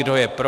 Kdo je pro?